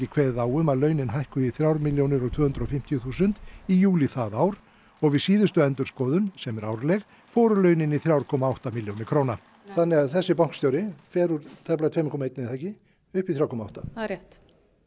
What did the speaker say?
kveðið á um að launin hækkuðu í þrjár milljónir og tvö hundruð og fimmtíu þúsund í júlí það ár og við síðustu endurskoðun sem er árleg fóru launin í þrjú komma átta milljónir króna þannig að þessi bankastjóri fer úr tæplega tvö komma eitt upp í þrjú komma átta það er rétt